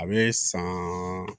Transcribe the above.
A bɛ san